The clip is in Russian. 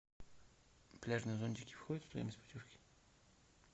пляжные зонтики входят в стоимость путевки